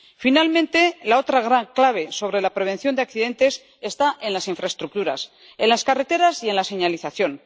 Finalmente, la otra gran clave para la prevención de accidentes está en las infraestructuras en las carreteras y en la señalización.